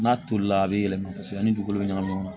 N'a tolila a be yɛlɛma kosɛbɛ ni dugukolo be ɲagami ɲɔgɔn na